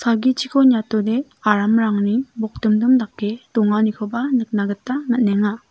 salgichiko niatode aramrangni bokdimdim dake donganikoba nikna gita man·enga.